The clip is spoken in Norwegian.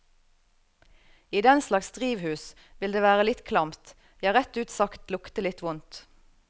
I denslags drivhus, vil det være litt klamt, ja rett ut sagt lukte litt vondt.